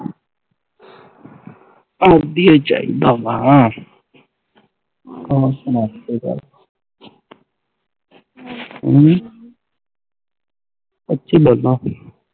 ਦੀਆਂ ਹੀ ਚਾਹੀਦਾ ਵਾ ਹੋਰ ਸੁਣਾ ਕੋਈ ਗੱਲ ਹਮ